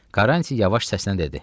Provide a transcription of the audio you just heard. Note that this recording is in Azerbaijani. Karranti yavaş səslə dedi: